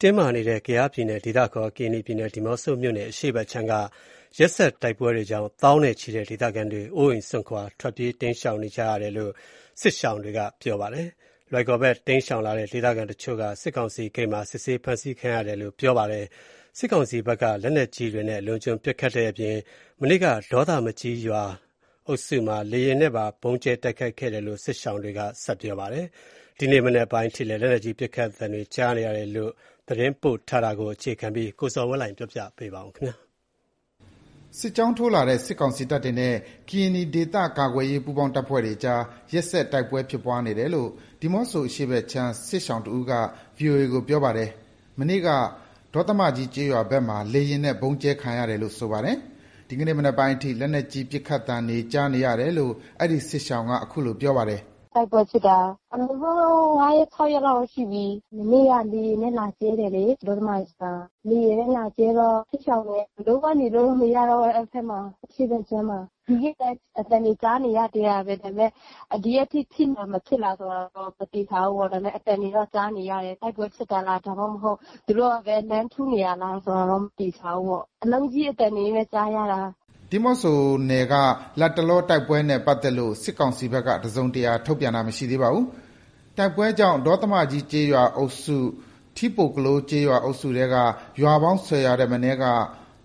တင်းမာနေတဲ့ ကယားပြည်နယ်၊ ဒေသအခေါ် ကရင်နီပြည်နယ်၊ ဒီးမော့ဆိုမြို့နယ် အရှေ့ခြမ်းက ရက်ဆက်တိုက်ပွဲတွေကြောင့် သောင်းနဲ့ချီတဲ့ ဒေသခံတွေ အိုးအိမ်စွန့်ခွာ ဘေးလွတ်ရာကို ထွက်ပြေးတိမ်းရှောနေကြဆဲဖြစ်တယ်လို့ စစ်ရှောင်တွေက VOA ကို ပြောပါတယ်။ လွိုင်ကော်ဘက် တိမ်းရှောင်လာတဲ့ ဒေသခံတချို့က စစ်ကောင်စီဂိတ်မှာ စစ်ဆေးဖမ်းဆီခံရတယ်လို့ စစ်ရှောင်တစ်ဦးက ပြောပါတယ်။ တိုက်ပွဲကြောင့် စစ်ကောင်စီဘက်က လက်နက်ကြီးတွေနဲ့ အလွန်အကျွံပစ်ခတ်တဲ့အပြင် မနေ့က ဒေါသမကြီးကျေးရွာအုပ်စုမှာ လေယာဉ်နဲ့ပါ ဗုံးကြဲတိုက်ခိုက်တယ်လို့ စစ်ရှောင်တွေက ပြောပါတယ်။ ဒီနေ့မနက်ပိုင်းထိ လက်နက်ကြီးပစ်ခတ်သံတွေ ရပ်တန့်မသွားဘဲ ကြားနေရတယ်လို့ ဆိုပါတယ်။ ဒီသတင်းပေးပို့ချက်ကို အခြေခံပြီး ကိုဇော်ဝင်းလှိုင်က တင်ပြပေးပါမယ်။ စစ်ကြောင်းထိုးလာတဲ့ စစ်ကောင်စီတပ်တွေနဲ့ ကရင်နီဒေသကာကွယ်ရေး ပူးပေါင်းတပ်ဖွဲ့တွေအကြား ရက်ဆက်တိုက်ပွဲဖြစ်နေတယ်လို့ ဒီးမော့ဆိုအရှေ့ခြမ်း စစ်ရှောင်တစ်ဦးက VOA ကို ပြောပါတယ်။ မနေ့က ဒေါသမကြီးကျေးရွာဘက်မှာ လေယာဉ်နဲ့ ဗုံးကြဲခံရတယ်လို့ ဆိုပါတယ်။ ဒီနေ့မနက်ပိုင်းအထိ လက်နက်ကြီးပစ်ခတ်သံတွေ ကြားနေရတယ်လို့ အဲဒီ စစ်ရှောင်က ခုလို ပြောပါတယ်။ “တိုက်ပွဲဖြစ်တာ အနည်းဆုံးတော့ ၅ရက်၊ ၆ရက်လောက် ရှိပြီ။ မနေ့က လေယာဉ်နဲ့ လာကြဲတယ်လေ။ ဒေါသမကြီးမှာ လေယာဉ်နဲ့ လာကြဲတော့ စစ်ရှောင်တွေ ဘယ်လိုမှ နေလို့မရတော့ဘူး အဲ့ဖက် အရှေ့ဖက်ခြမ်းမှာ။ ဒီနေ့လည်း အသံတွေ ကြားနေရသေးတာပဲ။ ဒါပေမယ့် ဒီရက်အထိ တိုက်ပွဲဖြစ်မလား၊ မဖြစ်လားဆိုတာတော့ မသေချာဘူးပေါ့။ ဒါပေမယ့် အသံတွေတော့ ကြားနေရတယ်။ တိုက်ပွဲဖြစ်တာလား၊ ဒါမှ သူတို့ကပဲ လှမ်းထုနေတာလားဆိုတာတော့ မသေချာဘူးပေါ့။ အလုံးကြီးအသံတွေပဲ ကြားရတာ။” ဒီးမော့ဆိုနယ်က လတ်တလော တိုက်ပွဲနဲ့ ပတ်သက်လို့ စစ်ကောင်စီဘက်က တစုံတရာ ထုတ်ပြန်တာ မရှိသေးပါဘူး။ တိုက်ပွဲကြောင့် ဒေါသမကြီးကျေးရွာအုပ်စု၊ ထီးပိုကလိုး ကျေးရွာအုပ်စုထဲက ရွာပေါင်း ၁၀ ရွာထက်မနည်းက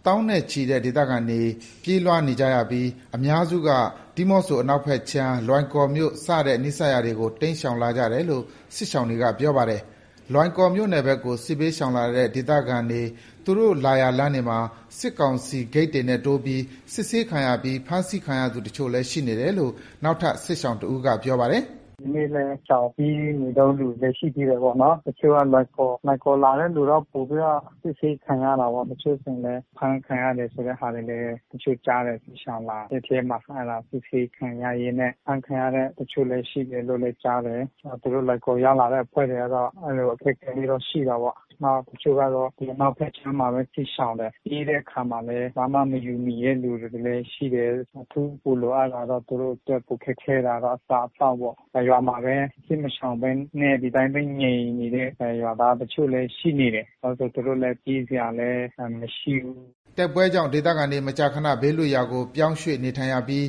သောင်းနဲ့ချီတဲ့ ဒေသခံတွေ ပြေးလွှားနေကြပြီး အများစုက ဒီးမော့ဆိုအနောက်ခြမ်း လွိုင်ကော်မြို့ စတဲ့ နီးစပ်ရာတွေကို တိမ်းရှောင်လာကြတာလို့ စစ်ရှောင်တွေက ပြောပါတယ်။ လွိုင်ကော်မြို့ဘက်ကို စစ်ရှောင်လာတဲ့ ဒေသခံတွေ သူတို့ လာရာလမ်းတွေမှာ စစ်ကောင်စီဂိတ်တွေနဲ့တိုးပြီး စစ်ဆေးခံရပြီး ဖမ်းဆီးခံရသူတချို့လည်း ရှိနေတယ်လို့ နောက်ထပ် စစ်ရှောင်တစ်ဦးက ပြောပါတယ်။ “ဒီနေ့လည်း ရှောင်ပြေးနေတုန်း။ လူတွေလည်း ရှိသေးတယ်ပေါ့နော်။ တချို့ကတော့ လွိုင်ကော်လာတဲ့လူက ပိုပြီးတော့ အစစ်ဆေးခံရတာပေါ့။ တချို့ဆိုရင်လည်း အဖမ်းခံရတဲ့ဟာဆိုလည်း တချို့ကြားတယ် ရှောင်လာတဲ့အထဲမှာ။ အဲ့ဒါ အစစ်ဆေးခံရရင်နဲ့ အဖမ်းခံရတဲ့ တချို့တွေ ရှိတယ်လို့လည်း ကြားတယ်။ သူတို့ လွိုင်ကော်ရောက်လာတဲ့ အဖွဲ့တွေကတော့ အဲ့လို အခက်အခဲတွေက ရှိတာပေါ့။ နောက် တချို့ကတော့ ဒီအနောက်ဖက်ခြမ်းမှာပဲ စစ်ရှောင်တယ်။ ပြေးတဲ့အခါမှာလည်း ဘာမှမယူမိတဲ့လူတွေလည်း ရှိတယ်။ အခုက ပိုလိုအပ်တာကတော့ သူတို့အတွက် ပိုခက်ခဲတာတော့ အစားအသောက်ပေါ့။ နောက်ပြီး ရွာမှာပဲ စစ်မရှောင်ဘဲနဲ့ ဒီတိုင်းပဲ ငြိမ်နေတဲ့ ရွာသားတချို့ လည်းရှိနေတယ်။ ဘာလို့ဆို သူတို့လည်း ပြေးစရာလည်း မရှိဘူး။” တိုက်ပွဲကြောင့် ဒေသခံတွေ မကြာခဏ ဘေးလွတ်ရာကို ပြောင်းရွေ့ နေထိုင်နေရပြီး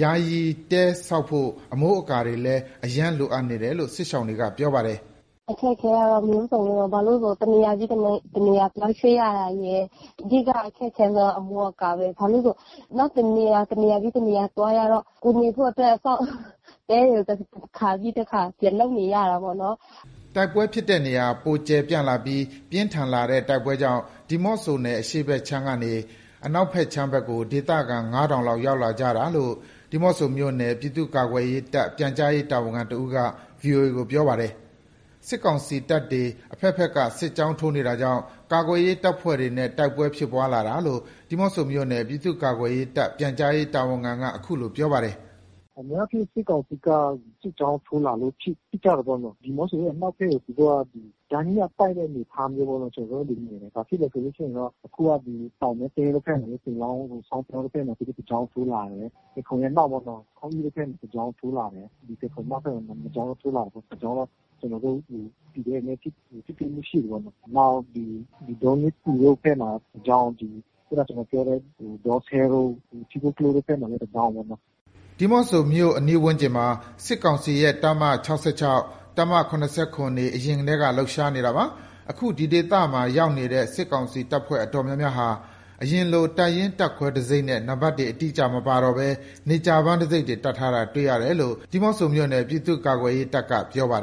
ယာယီတဲတည်ဆောက်ဖို့ အမိုးအကာတွေလည်း အရမ်းလိုအပ်နေတယ်လို့ စစ်ရှောင်က ပြောပါတယ်။ “အခက်အခဲကတော့ မျိုးစုံပဲပေါ့။ ဘာလို့ဆို တစ်နေရာပြီး တစ်နေရာ ပြောင်းရွေ့ရတာရယ်၊ အဓိကအခက်အခဲဆုံးက အမိုးအကာပဲ။ ဘာလို့ဆို နောက်တစ်နေရာ တစ်နေရာပြီးတစ်နေရာ သွားရတော့ ကိုယ်နေဖို့အတွက် အဆောက်အဦး၊ တဲတွေကို တစ်ခါပြီးတခါ ပြန်လုပ်နေရတာပေါ့နော်။” တိုက်ပွဲဖြစ်တဲ့နေရာ ပိုကျယ်ပြန့်လာပြီး ပြင်းထန်လာတဲ့ တိုက်ပွဲကြောင့် ဒီးမော့ဆိုနယ် အရှေ့ခြမ်းကနေ အနောက်ခြမ်းဖက်ကို ဒေသခံ ၅,၀၀၀ လောက် ရောက်လာကြတာလို့ ဒီးမော့ဆိုမြို့နယ် ပြည်သူ့ကာကွယ်ရေးတပ် ပြန်ကြားရေး တာဝန်ခံတစ်ဦးက VOA ကို ပြောပါတယ်။ စစ်ကောင်စီတပ်တွေ အဖက်ဖက်က စစ်ကြောင်းထိုးနေတာကြောင့် ကာကွယ်ရေးတပ်ဖွဲ့တွေနဲ့ တိုက်ပွဲဖြစ်ပွားလာတာလို့ ဒီးမော့ဆိုမြို့နယ် ပြည်သူ့ကာကွယ်ရေးတပ် ပြန်ကြားရေး တာဝန်ခံက ခုလို ပြောပါတယ်။ “အများအားဖြင့် စစ်ကောင်စီက စစ်ကြောင်းထိုးလာလို့ ဖြစ်ကြတာပေါ့နော်။ ဒီးမော့ဆိုအနောက်ဖက်ကို သူတို့က ကြားညှပ် တိုက်တဲ့အနေအထားပေါ့နော်၊ ကျနော်တို့ မြင်တယ်။ ဘာဖြစ်လဲဆိုတော့ အခုက တောင်မဲသင်းတို့ဖက်မှာလည်း ပင်လောင်းကို စောင်းပြောင်းတို့ဖက်မှာ သူတို့ တစ်ကြောင်းထိုးလာတယ်။ ဖယ်ခုံရဲ့ အနောက်ပေါ့နော်၊ ခေါင်းအိတို့ဖက်မှာ တစ်ကြောင်းလာတယ်။ ဒီဖယ်ခုံအနောက်ဖက်ကို နှစ်ကြောင်းထိုးလာတယ်။ တစ်ကြောင်းတော့ ကျနော်တို့ PDF တွေနဲ့ ထိတွေ့ မှုရှိတယ်ပေါ့နော်။ နောက် ဒီဒေါညေးခူတို့ဖက်မှာ တစ်ကြောင်း။ ခုနကျနော်တို့ပြောတဲ့ ဒေါစဲတို့၊ ထီးပိုကလိုးတို့ဖက်မှာလည်း တစ်ကြောင်းပေါ့နော်။” ဒီးမော့ဆိုမြို့နယ်တွေမှာ စစ်ကောင်စီရဲ့ တပ်မ ၆၆၊ တပ်မ ၇၇ တွေ အရင်ထဲက လှုပ်ရှားနေတာပါ။ အခု ဒီဒေသမှာ ရောက်နေတဲ့ စစ်ကောင်စီတပ်ဖွဲ့ အတော်များများဟာ အရင်လို တပ်ရင်း၊ တပ်ခွဲတံဆိပ်နဲ့ နံပါတ်တွေ အတိအကျမပါတော့ဘဲ နေကြာပန်းတံဆိပ်တွေ တပ်ထားတာကို တွေ့ရတယ်လို့ ဒီးမော့ဆိုမြို့နယ် ပြည်သူ့ကာကွယ်ရေးတပ်က ပြောပါတယ်